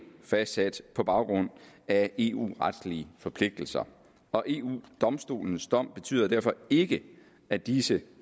fastsat på baggrund af eu retslige forpligtelser og eu domstolens dom betyder derfor ikke at disse